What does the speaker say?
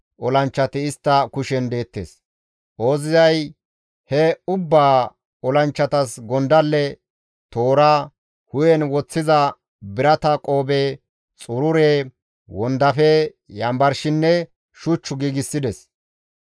Ooziyay he ubba olanchchatas gondalle, toora, hu7en woththiza birata qoobe, xurure, wondafe, yanbarshinne shuch giigsides.